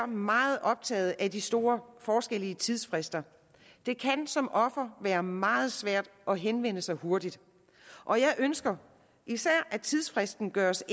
meget optaget af de store forskelle i tidsfrister det kan som offer være meget svært at henvende sig hurtigt og jeg ønsker især at tidsfristen gøres